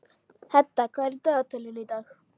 Hedda, hvað er í dagatalinu í dag?